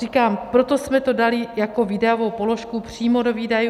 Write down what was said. Říkám, proto jsme to dali jako výdajovou položku přímo do výdajů.